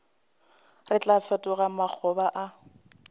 re tlo fetoga makgoba a